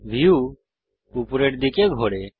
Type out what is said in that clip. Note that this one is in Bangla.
ভিউ উপরের দিকে ঘোরে